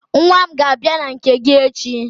Nwa m ga-abia na nke gị echi.